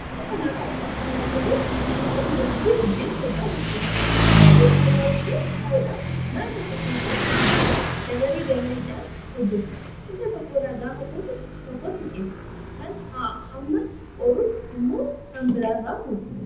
Suuraa kana irraa kan argaa jirru suuraa dubartii buddeena tolchaa jirtudha. Isheenis kophaa ishee ta'uudhaan mana tokko keessatti buddeena dabaree dabareedhaan hojjatti. Isa tokkorraa gaafa fuute tokkotti ceeti kaan hamma qoorutti immoo kan biraa irraa fuuti.